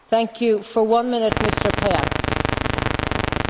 Ukraina mure number üks on selgelt julgeolekuolukord.